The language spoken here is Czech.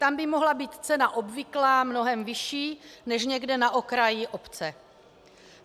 Tam by mohla být cena obvyklá mnohem vyšší než někde na okraji obce.